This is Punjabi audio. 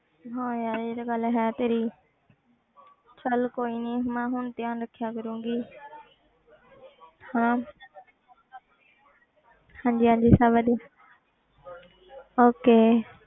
ਹਾਂ ਯਾਰ ਇਹ ਤੇ ਗੱਲ ਹੈ ਤੇਰੀ ਚੱਲ ਕੋਈ ਨੀ ਮੈਂ ਹੁਣ ਧਿਆਨ ਰੱਖਿਆ ਕਰਾਂਗੀ ਹਨਾ ਹਾਂਜੀ ਹਾਂਜੀ ਸਭ ਵਧੀਆ okay